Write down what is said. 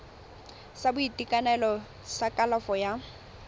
sa boitekanelo sa kalafo ya